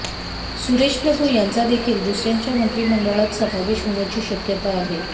सुरेश प्रभू यांचा देखील दुसऱ्यांचा मंत्रिमंडळात समावेश होण्याची शक्यता आहे